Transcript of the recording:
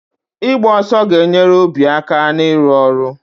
Ịgba ọsọ ga-enyere obi aka na-ịrụ ọrụ